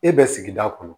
E bɛ sigida kɔnɔ